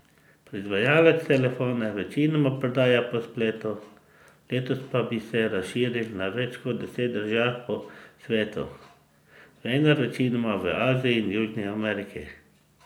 Proizvajalec telefone večinoma prodaja po spletu, letos pa naj bi se razširil na več kot deset držav po svetu, vendar večinoma v Aziji in Južni Ameriki.